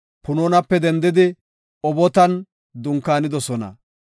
Punoonape dendidi Obotan dunkaanidosona.